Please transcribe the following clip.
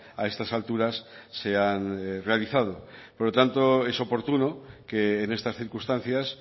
a estas alturas se han realizado por lo tanto es oportuno que en estas circunstancias